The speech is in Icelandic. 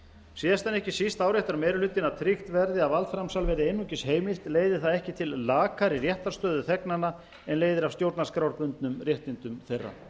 síðast en ekki síst áréttar meiri hlutinn að tryggt verði að valdframsal verði einungis heimilt leiði það ekki til lakari réttarstöðu þegnanna en leiðir af stjórnarskrárbundnum réttindum þeirra